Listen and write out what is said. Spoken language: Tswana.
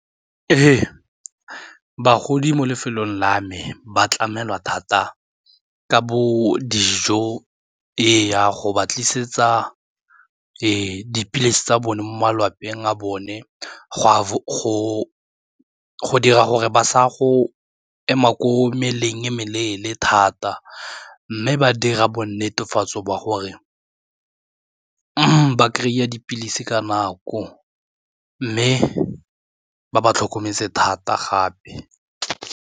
Ee, bagodi mo lefelong la me ba tlamelwa thata ka bo dijo, ee go ba tlisetsa dipilisi tsa bone mo malapeng a bone go dira gore ba saya go ema ko meleng e meleele thata mme ba dira bo netefatso ba gore ba kry-a dipilisi ka nako mme ba ba tlhokometse thata gape.